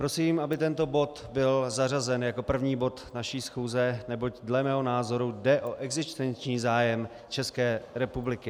Prosím, aby tento bod byl zařazen jako první bod naší schůze, neboť dle mého názoru jde o existenční zájem České republiky.